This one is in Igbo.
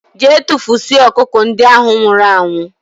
Gee tufusie ọkụkọ ndị ahụ nwụrụ anwụ!!!